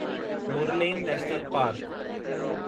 Murlen national park